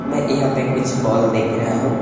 मैं यहां पे कुछ बॉल देख रहा हूं।